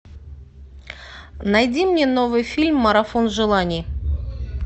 найди мне новый фильм марафон желаний